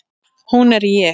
Hún er ég.